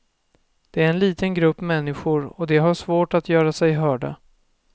Det är en liten grupp människor och de har svårt att göra sig hörda.